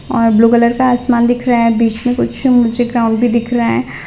और blue colour का आसमान दिख रहा है बीच में कुछ मुझे ग्राउंड भी दिख रहा है।